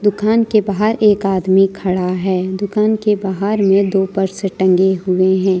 घन के बाहर एक आदमी खड़ा है दुकान के बाहर में दो ऊपर से टंगे हुए हैं।